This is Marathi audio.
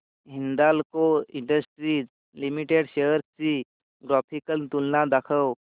हिंदाल्को इंडस्ट्रीज लिमिटेड शेअर्स ची ग्राफिकल तुलना दाखव